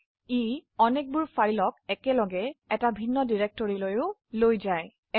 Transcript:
এছাড়াও এটি অনেকগুলি ফাইল একসাথে একটি ভিন্ন ডিৰেক্টৰিৰ নিয়ে যায়